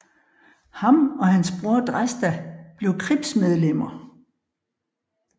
Ham og hans bror Dresta blev cripsmedlemmer